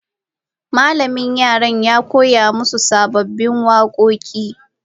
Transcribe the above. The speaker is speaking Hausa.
Malamin yaran ya koya musu sababbin wakoki.